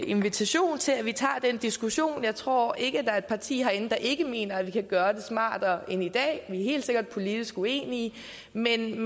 invitation til at vi tager den diskussion jeg tror ikke at der er et parti herinde der ikke mener at vi kan gøre det smartere end i dag vi er helt sikkert politisk uenige men